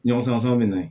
Ɲɔgɔn sɔn bɛ na